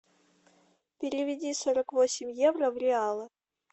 переведи сорок восемь евро в реалы